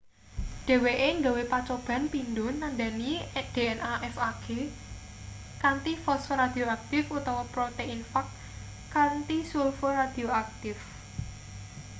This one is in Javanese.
dheweke gawe pacoban pindho nandhani dna fag kanthi fosfor radioaktif utawa protein fag kanthi sulfur radioaktif